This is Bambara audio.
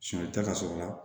Sɔnita ka sɔrɔ a la